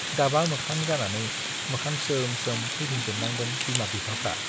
गाबा मोखां जानानै मोखां सोम-सोम फैफिनजोबनांदों बिमा-बिफाफ्रा।